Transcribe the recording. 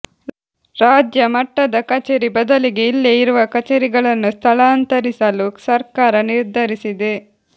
ರಾಜ್ಯ ಮಟ್ಟದ ಕಚೇರಿ ಬದಲಿಗೆ ಇಲ್ಲೇ ಇರುವ ಕಚೇರಿಗಳನ್ನು ಸ್ಥಳಾಂತರಿಸಲು ಸರ್ಕಾರ ನಿರ್ಧರಿಸಿದೆ